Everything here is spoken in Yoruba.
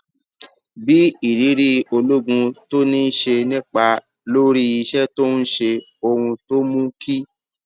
bí ìrírí ológun tó ní ṣe nípa lórí iṣẹ tó ń ṣe ohun tó mú kí